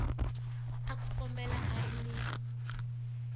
a kumeka a ri ni